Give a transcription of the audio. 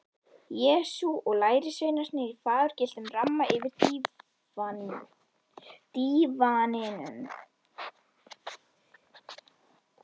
Jesú og lærisveinarnir í fagurgylltum ramma yfir dívaninum.